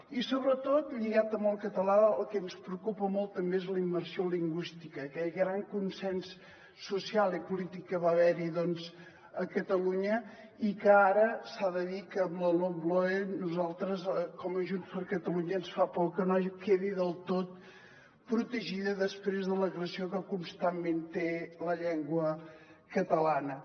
i sobretot lligat amb el català el que ens preocupa molt també és la immersió lingüística aquest gran consens social i polític que va haver hi a catalunya i que ara s’ha de dir que amb la lomloe a nosaltres com a junts per catalunya ens fa por que no quedi del tot protegida després de l’agressió que constantment té la llengua catalana